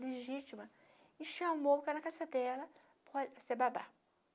legítima e chamou para a casa dela para ser babá.